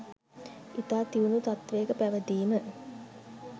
ඉතා දියුණු තත්ත්වයක පැවතීම